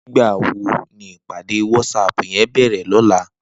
Nigbá wó ni ipàdé wàtsáp yèn bèrè lòlá?